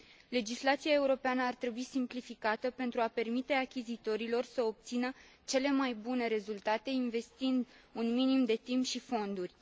Legislația europeană ar trebui simplificată pentru a permite achizitorilor să obțină cele mai bune rezultate investind un minim de timp și fonduri.